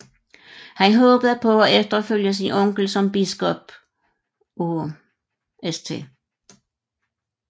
Han håbede på at efterfølge sin onkel som biskop af St